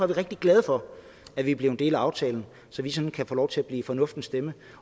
vi rigtig glade for at vi er blevet en del af aftalen så vi sådan kan få lov til at blive fornuftens stemme